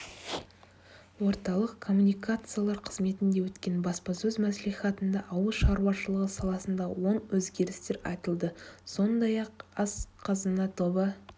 орталық коммуникациялар қызметінде өткен баспасөз мәслихатында ауыл шаруашылығы саласындағы оң өзгерістер айтылды сондай-ақ ақ қазына тобы